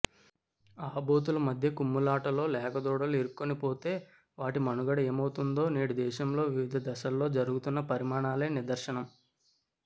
ఆబోతుల మధ్య కుమ్ములాటలో లేగదూడలు ఇరుక్కునిపోతే వాటి మనుగడ ఏమవుతుందో నేడు దేశంలో వివిధ దశల్లో జరుగుతున్న పరిణామాలే నిదర్శనం